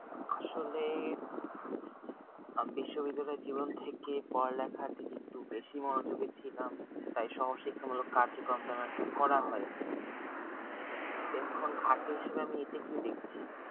আসলে আমি বিশ্ববিদ্যালয় জীবন থেকে পড়ালেখার দিকে একটু বেশি মনোযোগী ছিলাম তাই সহজ শিক্ষা মূলক কার্য কর তেমন একটা করা হয়নি তখন ঘাড়তি হিসাবে আমি এটাকে দেখছি